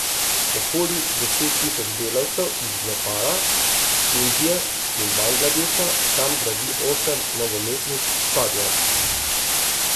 Okoli deset tisoč delavcev iz Nepala, Indije in Bangladeša tam gradi osem nogometnih stadionov.